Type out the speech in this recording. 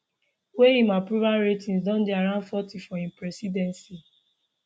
wey im approval ratings don dey around forty for im presidency